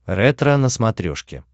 ретро на смотрешке